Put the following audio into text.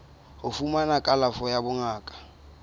ho fumana kalafo ya bongaka